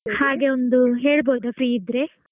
ಹಾಗೆ ಒಂದು ಹೇಳಬಹುದಾ free ಇದ್ರೆ?